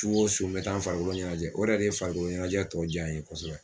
Su o su n bɛ taa n farikolo ɲɛnajɛ o yɛrɛ de farikolo ɲɛnajɛ tɔ jaa n ye kɔsɔbɛ.